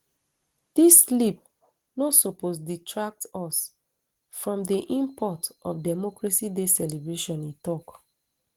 dis slip no suppose detract us from di import of democracy day celebration e tok